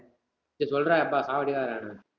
சேரி சொல்றா யப்பா, சாவடிக்காதடா என்ன